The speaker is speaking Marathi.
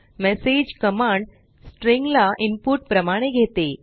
मेसेज कमांड स्ट्रिंग ला इनपुट प्रमाणे घेते